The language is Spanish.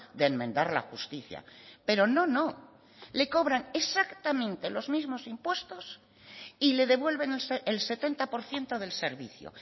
de enmendar la justicia pero no no le cobran exactamente los mismos impuestos y le devuelven el setenta por ciento del servicio